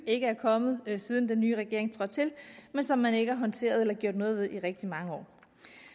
ikke er kommet siden den nye regering trådte til men som man ikke har håndteret eller gjort noget ved i rigtig mange år